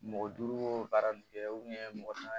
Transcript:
Mɔgɔ duuru baara nin kɛ mɔgɔ naani